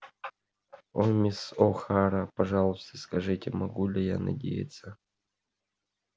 о мисс охара пожалуйста скажите могу ли я надеяться